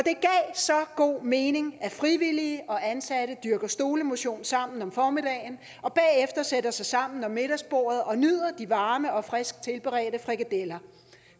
så god mening at frivillige og ansatte dyrker stolemotion sammen om formiddagen og bagefter sætter sig sammen om middagsbordet og nyder de varme og frisk tilberedte frikadeller